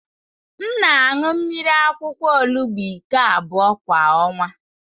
M na-aṅụ mmiri akwụkwọ olugbu iko abụọ kwa ọnwa.